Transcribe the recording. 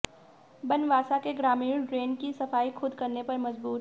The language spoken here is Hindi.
बनवासा के ग्रामीण ड्रेन की सफाई खुद करने पर मजबूर